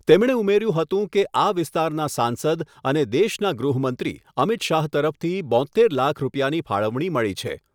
તેમણે ઉમેર્યું હતું કે આ વિસ્તારના સાંસદ અને દેશના ગૃહમંત્રી અમિત શાહ તરફથી બોત્તેર લાખ રૂપિયાની ફાળવણી મળી છે.